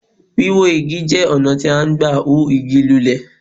Wíwó Igi jẹ́ ọ̀nà tí à n gbà hú Igi lulẹ̀